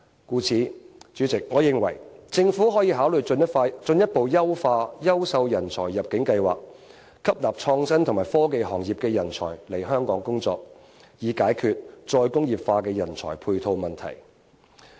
故此，代理主席，我認為可以考慮進一步優化優秀人才入境計劃，吸納創新及科技行業的人才來港工作，以解決再工業化的人才配套問題。